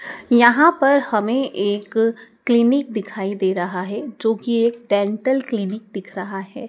यहां पर हमें एक क्लिनिक दिखाई दे रहा है जो की एक डेंटल क्लिनिक दिख रहा है।